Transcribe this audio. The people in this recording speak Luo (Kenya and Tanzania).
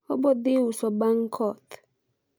obodhi uso bang koth